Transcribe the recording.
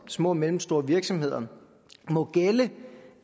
og små og mellemstore virksomheder må gælde